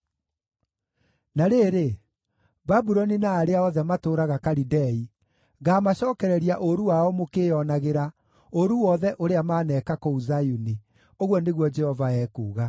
“Na rĩrĩ, Babuloni na arĩa othe matũũraga Kalidei, ngaamacookereria ũũru wao mũkĩĩonagĩra, ũũru wothe ũrĩa maaneka kũu Zayuni,” ũguo nĩguo Jehova ekuuga.